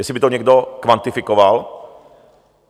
Jestli by to někdo kvantifikoval?